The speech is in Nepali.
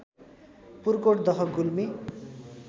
पुर्कोट दह गुल्मी